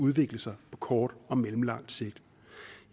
udvikle sig på kort og mellemlang sigt